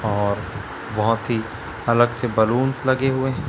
और बहोत ही अलग से बलून्स लगे हुए हैं।